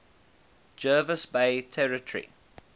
jervis bay territory